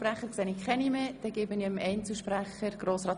Wir fahren fort mit den Einzelsprechern.